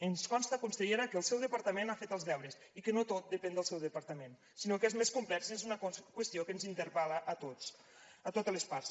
ens consta consellera que el seu departament ha fet els deures i que no tot depèn del seu departament sinó que és més complex és una qüestió que ens interpel·la a tots a totes les parts